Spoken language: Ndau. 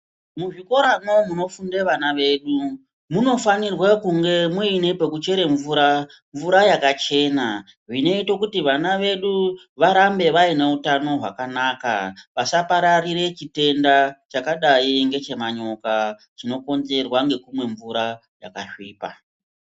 Muzvikoromwo munofunda ana edu munofanira kunge muine pekuchera mvura yakachena inoita kuti vana vedu varambe Vaine hutano hwakanaka vasapararire chitenda chakadai nechemanyoka chinokonzerwa nekumwe mvura yakasvipa.